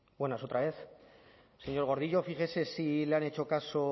buenas otra vez señor gordillo fíjese si le han hecho caso